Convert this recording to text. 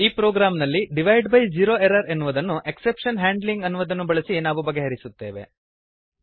ಈ ಪ್ರೊಗ್ರಾಮ್ ನಲ್ಲಿ divide by zero error ಎನ್ನುವುದನ್ನು ಎಕ್ಸೆಪ್ಶನ್ ಹ್ಯಾಂಡ್ಲಿಂಗ್ ಅನ್ನು ಬಳಸಿ ನಾವು ಬಗೆಹರಿಸುತ್ತೇವೆ